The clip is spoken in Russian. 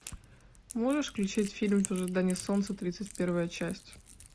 можешь включить фильм в ожидании солнца тридцать первая часть